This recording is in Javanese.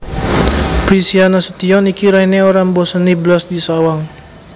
Prisia Nasution iki raine ora mboseni blas disawang